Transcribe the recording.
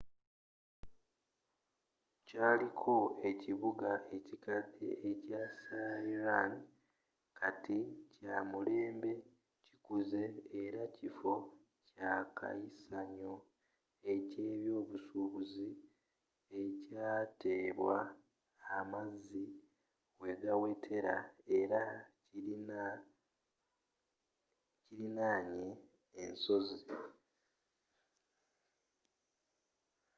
kyaliko ekibuga ekikadde ekya smryana kati kyamulembe kikuzze era kiffo ekyakayisanyo eky'ebyobusuubuzi ekyateebwa amazzi wegawetera era kilinaanye ensozi